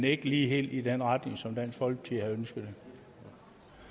ikke helt i den retning som dansk folkeparti havde ønsket det